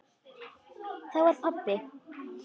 Þá var pabbi.